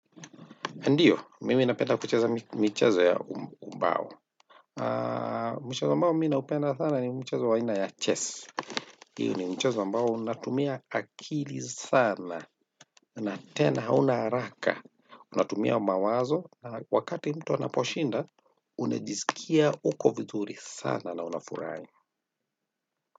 Ndiyo, mimi napenda kucheza michezo ya umbao. Mchezo ambao mimi naupenda sana ni mchezo wa aina ya chess iyo ni mchezo ambao unatumia akili sana na tena, hauna haraka. Unatumia mawazo. Wakati mtu anaposhinda, unajisikia uko vizuri sana na unafurahi.